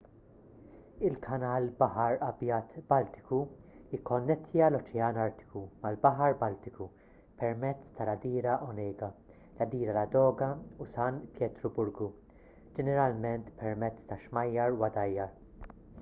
il-kanal baħar abjad-baltiku jikkonnettja l-oċean artiku mal-baħar baltiku pemezz tal-għadira onega l-għadira ladoga u san pietruburgu ġeneralment permezz ta' xmajjar u għadajjar